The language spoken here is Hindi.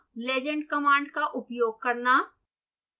legend कमांड का उपयोग करना